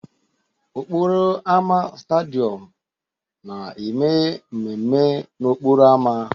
Okporo ámá Stadịom na-eme mmemme n'okporo ámá.